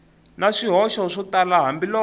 na swihoxo swo tala hambiloko